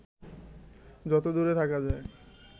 যত দূরে থাকা যায়